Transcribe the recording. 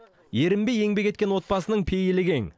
ерінбей еңбек еткен отбасының пейілі кең